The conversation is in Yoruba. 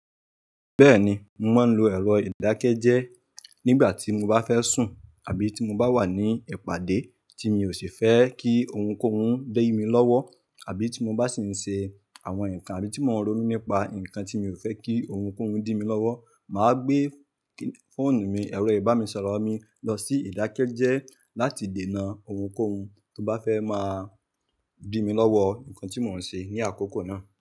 Bẹ́ẹ̀ni, mò maa n lo ẹ̀rọ ìdákẹ́jẹ́ẹ́ nígbà tí mo bá fẹ́ sùn àbí tí mo bá wà ní ẹipàdé tí mi ò sì fẹ́ kí ohunkóhun di mi lọ́wọ́. Àbí tí mo bá sì ń ṣe àwọn nǹkan abi tí mò ń ronú nípa nǹkan tí mi ò fẹ́ kí ohunkóhun dì mi lọ́wọ́. Mà á gbé fóònù mi, ẹ̀rọ ìbánisọ̀rọ̀ mi lọ sí ìdákẹ́jẹ́ẹ́ láti dènà ohunkóhun tó bá fẹ́ máa dì mi lọ́wọ́ nǹkan tí mò ń ṣe ní àkókò náà.